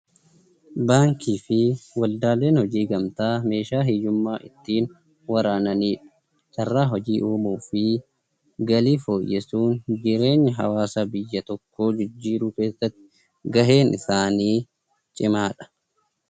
Baankii fi waldaaleen gamtaa meeshaa hiyyummaa ittiin waraananidha. Carraa hojii uumuu fi galii fooyyessuun jireenya hawaasa biyya tokkoo jijjiiruu keeessatti gaheen isaanii cimaadha.